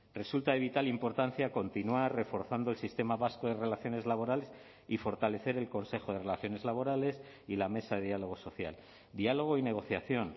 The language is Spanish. resulta de vital importancia continuar reforzando el sistema vasco de relaciones laborales y fortalecer el consejo de relaciones laborales y la mesa de diálogo social diálogo y negociación